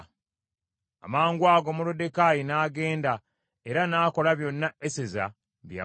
Amangwago Moluddekaayi n’agenda, era n’akola byonna Eseza bye yamulagira.